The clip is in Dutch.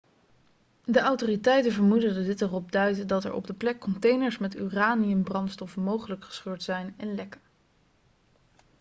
de autoriteiten vermoeden dat dit erop duidt dat er op de plek containers met uraniumbrandstof mogelijk gescheurd zijn en lekken